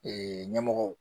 Ee ɲɛmɔgɔw